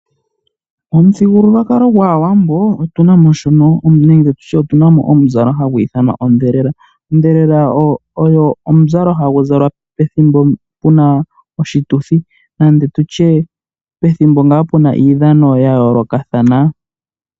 Momuthigululwakalo gwaAwambo otuna mo omuzalo hagu ithanwa ondhelela. Ondhelela oyo omuzalo hagu zalwa pethimbo puna oshituthi nenge tu tye pethimbo ngaa puna iidhano ya yoolokathana.